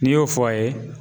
N'i y'o fɔ a ye